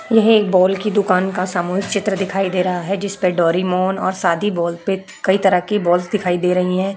यह एक बॉल की दुकान का सामूहिक चित्र दिखाई दे रहा है जिसपे डोरेमोन और शादी बॉल पे कई तरह की बॉलस दिखाई दे रही हैं।